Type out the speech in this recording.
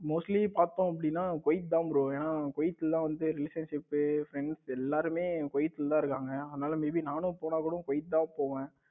mostly பார்த்தோம் அப்படின்னா Kuwait தான் bro என்ன குவைத் தான் relation, friends எல்லாருமே குவைத்துல தான் இருக்காங்க. அதானல may be நானும் போனா கூட குவைத் தான் போவேன்.